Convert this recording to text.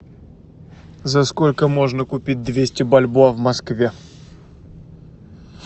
за сколько можно купить двести бальбоа в москве